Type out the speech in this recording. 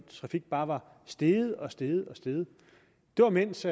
trafik bare var steget og steget det var mens